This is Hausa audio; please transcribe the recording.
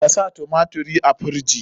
Ka sa tumatirin a firiji?